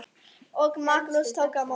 Og Magnús tók á móti?